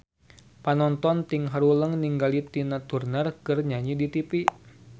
Panonton ting haruleng ningali Tina Turner keur nyanyi di tipi